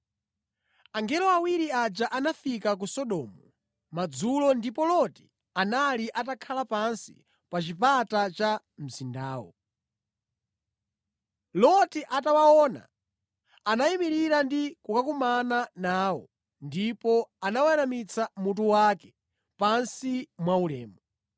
Angelo awiri aja anafika ku Sodomu madzulo ndipo Loti anali atakhala pansi pa chipata cha mzindawo. Loti atawaona, anayimirira ndi kukakumana nawo ndipo anaweramitsa mutu wake pansi mwaulemu.